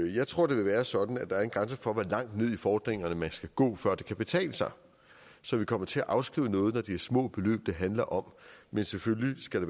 jeg tror det vil være sådan at der er en grænse for hvor langt ned i fordringerne man skal gå før det kan betale sig så vi kommer til afskrive noget når det er små beløb det handler om men selvfølgelig skal